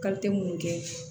munnu kɛ